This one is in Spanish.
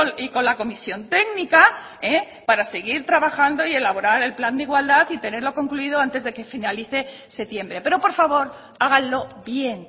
y con la comisión técnica para seguir trabajando y elaborar el plan de igualdad y tenerlo concluido antes de que finalice septiembre pero por favor háganlo bien